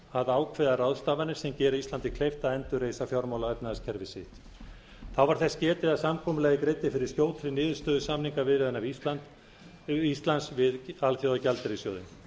að ákveða ráðstafanir sem gera íslandi kleift að endurreisa fjármála og efnahagskerfi sitt þá var þess getið að samkomulagið greiddi fyrir skjótri niðurstöðu samningaviðræðna íslands við alþjóðagjaldeyrissjóðinn